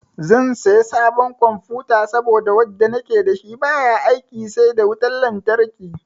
Zan saya sabon confuta saboda wanda nake da shi baya aiki sai da wutan lantarki.